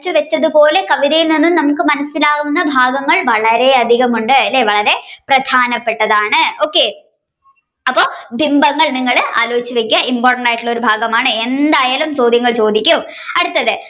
വരച്ചുവെച്ചതുപോലെ നമ്മുക്ക് കവിതയിൽ നിന്ന് മനസിലാവുന്ന ഭാവങ്ങൾ വളരെ അധികമുണ്ട് വളരെ പ്രധാനപെട്ടതാണ് okay അപ്പൊ ബിംബങ്ങൾ നിങ്ങൾ ആലോചിച്ചു വെക്കുക important ആയിട്ടുള്ള ഭാഗമാണ്. എന്തായാലും ചോദ്യങ്ങൾ ചോദിക്കും അടുത്തത്